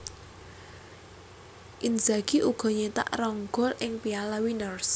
Inzagi uga nyetak rong gol ing Piala Winners